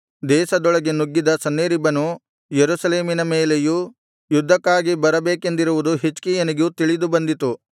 ದೇಶದೊಳಗೆ ನುಗ್ಗಿದ ಸನ್ಹೇರೀಬನು ಯೆರೂಸಲೇಮಿನ ಮೇಲೆಯೂ ಯುದ್ಧಕ್ಕಾಗಿ ಬರಬೇಕೆಂದಿರುವುದು ಹಿಜ್ಕೀಯನಿಗೆ ತಿಳಿದುಬಂದಿತು